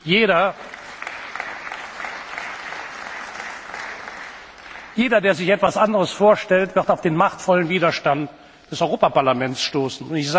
Jeder, der sich etwas anderes vorstellt, wird auf den machtvollen Widerstand des Europaparlaments stoßen.